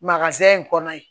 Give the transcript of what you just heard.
in kɔnɔ ye